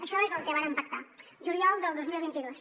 això és el que vàrem pactar juliol del dos mil vint dos